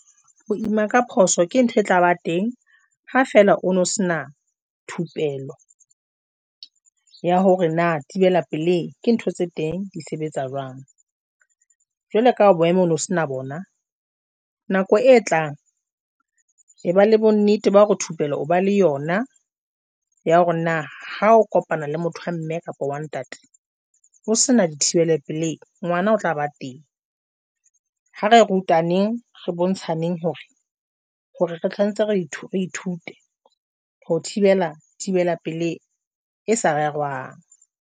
Ho ima ka phoso ke ntho e tlaba teng, ha fela o no se na thupelo ya hore na thibela pelehi ke ntho tse teng di sebetsa jwang jwale ka boemo ono sena bona nako e tlang e ba le bonnete ba hore thupelo, o ba le yona ya hore na ha o kopana le motho a mme kapa one ntate o se na dithibele pelehi ngwana o tlaba teng. Ha re rutaneng re bontshaneng hore hore re tshwanetse re ithute ho thibela thibela pelehi e sa rerwang.